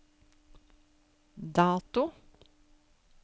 dato